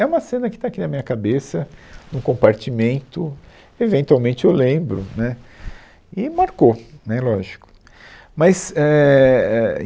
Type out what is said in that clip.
É uma cena que está aqui na minha cabeça, num compartimento, eventualmente eu lembro, né, e marcou, né, lógico. mas é, éh